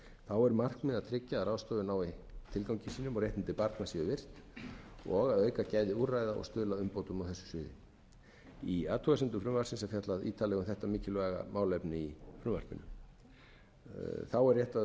þá eru markmið að tryggja að ráðstöfun nái tilgangi sínum og réttindi barna séu virt og að auka gæði úrræða og stuðla að umbótum á þessu sviði í athugasemdum frumvarpsins er fjallað ítarlega um þetta mikilvæga málefni í frumvarpinu rétt er